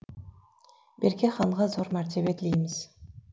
берке ханға зор мәртебе тілейміз